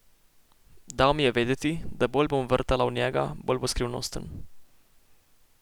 Dal mi je vedeti, da bolj bom vrtala v njega, bolj bo skrivnosten.